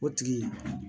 O tigi